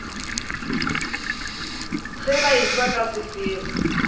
ge ba etšwa ka sefero